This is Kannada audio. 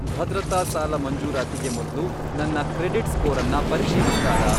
ಭದ್ರತಾ ಸಾಲ ಮಂಜೂರಾತಿಗೆ ಮೊದ್ಲು ನನ್ನ ಕ್ರೆಡಿಟ್ ಸ್ಕೋರನ್ನ ಪರಿಶೀಲಿಸ್ತಾರಾ?